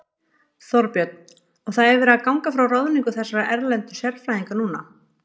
Þorbjörn: Og það er verið að ganga frá ráðningu þessara erlendu sérfræðinga núna?